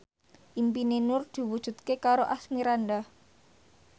impine Nur diwujudke karo Asmirandah